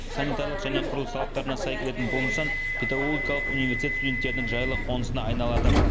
санитарлық және құрылыс талаптарына сай келетін бұл нысан педагогикалық университет студенттерінің жайлы қонысына айналады